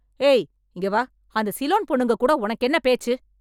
ஏய்... இங்க வா, அந்த சிலோன் பொண்ணுங்ககூட உனக்கென்ன பேச்சு?